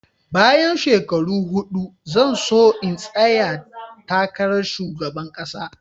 Bayan shekaru huɗu zan so in tsaya takarar Shugaban kasa.